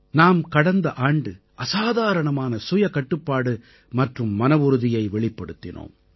நாம் கடந்த ஆண்டு அசாதாரணமான சுயகட்டுப்பாடு மற்றும் மனவுறுதியை வெளிப்படுத்தினோம்